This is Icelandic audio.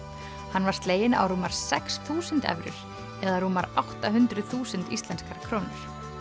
hann var sleginn á rúmar sex þúsund evrur eða rúmar átta hundruð þúsund íslenskar krónur